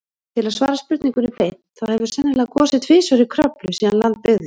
Til að svara spurningunni beint, þá hefur sennilega gosið tvisvar í Kröflu síðan land byggðist.